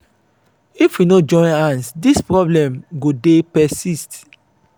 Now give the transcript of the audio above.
if we no join hand this problem go dey persist.